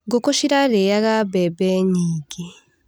Ngũkũ cirarĩaga mbembe nyingĩ.